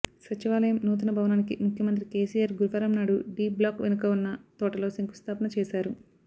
సచివాలయం నూతన భవనానికి ముఖ్యమంత్రి కేసీఆర్ గురువారం నాడు డీ బ్లాక్ వెనుక ఉన్న తోటలో శంకుస్థాపన చేశారు